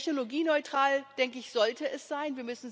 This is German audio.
Technologieneutral, denke ich, sollte es sein.